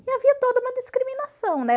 E havia toda uma discriminação, né?